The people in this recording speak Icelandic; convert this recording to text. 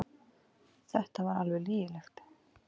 Þetta var alveg lygilegt.